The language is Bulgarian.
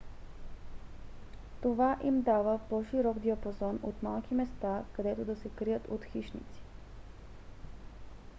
това им дава по-широк диапазон от малки места където да се крият от хищници